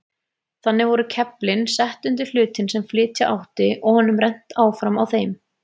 Þannig voru keflin sett undir hlutinn sem flytja átti og honum rennt áfram á þeim.